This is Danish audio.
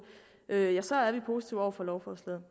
så er vi positive over for lovforslaget